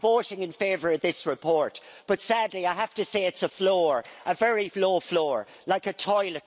I'm voting in favour of this report, but, sadly, I have to say it is a floor, a very low floor, like a toilet.